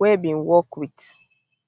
wey bin work wit